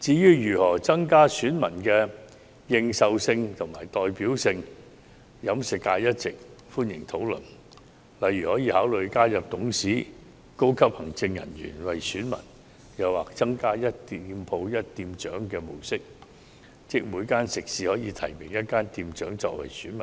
至於如何增加選民的認受性和代表性，飲食界一直歡迎討論，例如，可以考慮加入董事及高級行政人員為選民或採用"一店鋪一店長"的模式，即每間食肆可提名一名店長為選民，